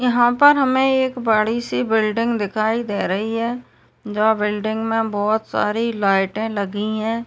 यहाँ पर हमें एक बड़ी- सी बिल्डिंग दिखाई दे रही है जो बिल्डिंग में बहुत सारी लाइटें लगी हैं।